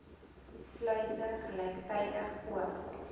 sluise gelyktydig oop